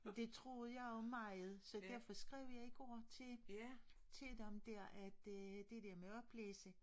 Det troede jeg jo meget så derfor skrev jeg igår til til dem der at øh det der med oplæse